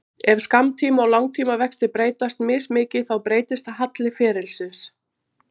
Ef skammtíma- og langtímavextir breytast mismikið þá breytist halli ferilsins.